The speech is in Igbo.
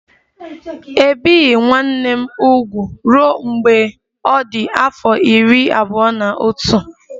E bieghị nwanne m úgwù ruo mgbe ọ dị afọ iri abụọ na otu